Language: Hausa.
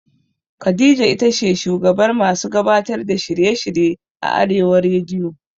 Khadija itace shugabar masu gabatar da shirye shirye a arewa rediyo